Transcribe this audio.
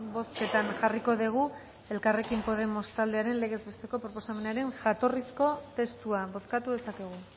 bozketan jarriko dugu elkarrekin podemos taldearen lege proposamenaren jatorrizko testua bozkatu dezakegu